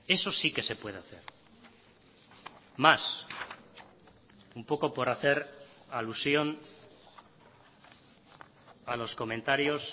eso sí que se puede hacer más un poco por hacer alusión a los comentarios